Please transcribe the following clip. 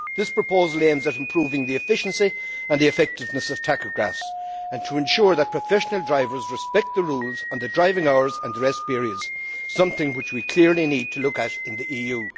This proposal aims to improve the efficiency and effectiveness of tachographs and to ensure that professional drivers respect the rules on driving hours and rest periods something which we clearly need to look at in the EU.